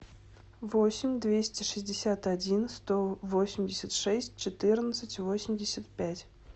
восемь двести шестьдесят один сто восемьдесят шесть четырнадцать восемьдесят пять